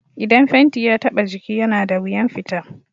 Idan fenti ya taɓa jiki yana da wuyan fita